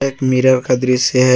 एक मिरर का दृश्य है।